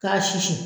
K'a susu